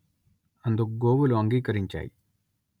అందుకు గోవులు అంగీకరించాయి